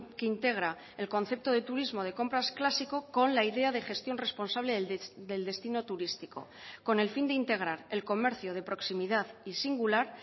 que integra el concepto de turismo de compras clásico con la idea de gestión responsable del destino turístico con el fin de integrar el comercio de proximidad y singular